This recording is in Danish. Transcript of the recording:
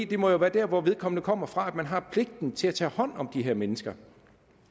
det må være der hvor vedkommende kommer fra at man har pligten til at tage hånd om det her menneske